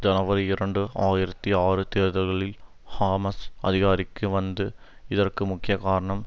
ஜனவரி இரண்டு ஆயிரத்தி ஆறு தேர்தல்களில் ஹாமஸ் அதிகாரிக்கு வந்து இதற்கு முக்கிய காரணம்